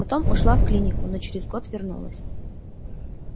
потом ушла в клинику но через год вернулась